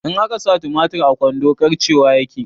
In akasa tumatir a kwando karcewa yake